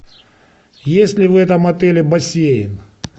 есть ли в этом отеле бассейн